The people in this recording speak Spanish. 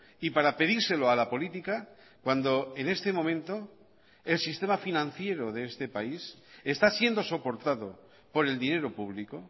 y para pedírselo a la política cuando en este momento el sistema financiero de este país está siendo soportado por el dinero público